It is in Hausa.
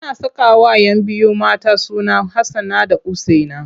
Ana sakawa 'yan biyu mata suna Hassana da Usaina.